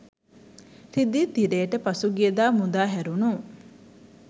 රිදී තිරයට පසුගියදා මුදා හැරුණු